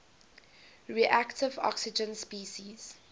reactive oxygen species